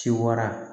Ci wara